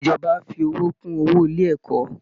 Ìjọba á fi owó kún owó ilé ẹ̀kọ́